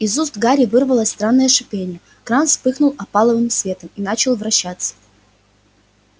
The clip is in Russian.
из уст гарри вырвалось странное шипение кран вспыхнул опаловым светом и начал вращаться